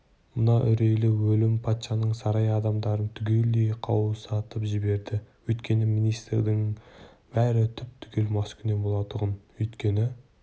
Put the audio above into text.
мына үрейлі өлім патшаның сарай адамдарын түгелдей қаусатып жіберді өйткені министрлердің бәрі түп-түгел маскүнем болатұғын өйткені